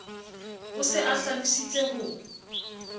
o se a hlalositse ho